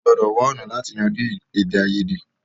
À gbòdò wá ọ̀nà láti yanjú èdè àìyèdè.